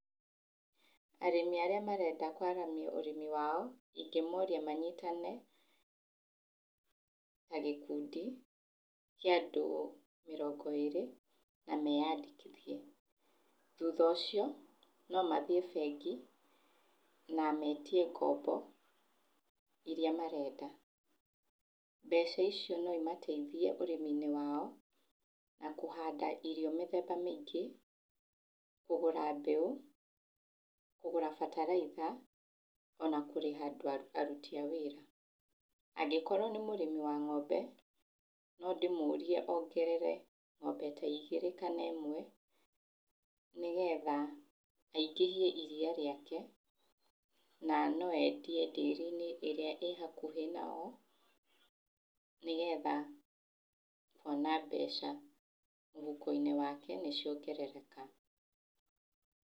Arĩmi arĩa marenda kwaramia ũrĩmi wao, ingĩmoria manyitane ta gĩkundi kĩa andũ mĩrongo ĩrĩ na meyandĩkithie. Na thutha ũcio no mathiĩ bengi na metie ngombo iria marenda. Mbeca icio no imateithie ũrĩmi-inĩ wao na kũhanda irio mĩthemba mĩingĩ, kũgũra mbeũ, kũgũra bataraitha ona kũrĩha aruti a wĩra. Angĩkorwo nĩ mũrĩmi wa ngombe, no ndĩmũrie ongerere ngombe ta igĩrĩ kana ĩmwe, nĩgetha aingĩhie iria rĩake na no endie ndĩri-inĩ ĩrĩa ĩ hakuhĩ nao, nĩgetha akona mbeca mũhuko-inĩ wake nĩciongerereka.